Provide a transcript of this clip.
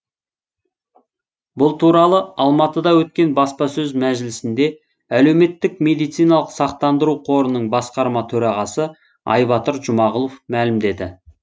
бұл туралы алматыда өткен баспасөз мәжілісінде әлеуметтік медициналық сақтандыру қорының басқарма төрағасы айбатыр жұмағұлов мәлімдеді